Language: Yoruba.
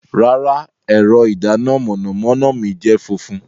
Rara, ẹrọ idana mọnamọna mi jẹ funfun